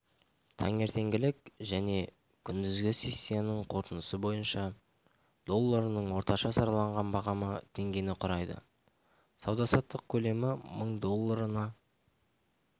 таңертеңгілік және күндізгі сессиясының қорытындысы бойынша долларының орташа сараланған бағамы теңгені құрайды сауда-саттық көлемі мың долларына